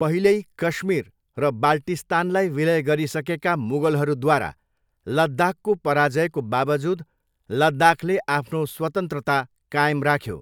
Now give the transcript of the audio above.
पहिल्यै कश्मीर र बाल्टिस्तानलाई विलय गरिसकेका मुगलहरूद्वारा लद्दाखको पराजयको बावजुद, लद्दाखले आफ्नो स्वतन्त्रता कायम राख्यो।